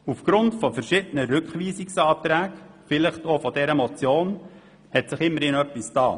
Aufgrund verschiedener Rückweisungsanträge, vielleicht auch aufgrund dieser Motion, hat sich immerhin etwas bewegt.